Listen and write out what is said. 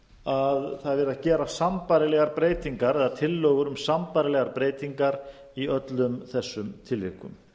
að það er verið að gera sambærilegar breytingar eða tillögur um sambærilegar breytingar í öllum þessum tilvikum